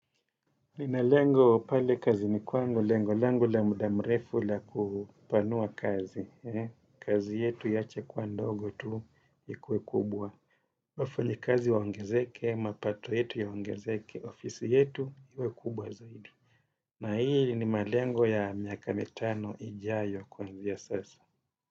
Nina lengo pale kazini kwangu lengo la muda mrefu la kupanua kazi. Kazi yetu iache kua ndogo tu ikue kubwa wafanyakazi waongezeke, mapato yetu yaongezeke, ofisi yetu ikuwe kubwa zaidi. Na hii ni malengo ya miaka mitano ijayo kuanzia ya sasa.